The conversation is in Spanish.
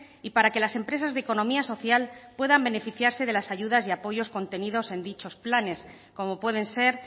y para que las empresas de economía social puedan beneficiarse de las ayudas y apoyos contenidos en dichos planes como pueden ser